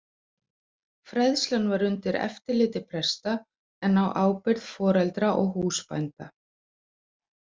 Fræðslan var undir eftirliti presta en á ábyrgð foreldra og húsbænda.